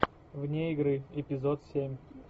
вне игры эпизод семь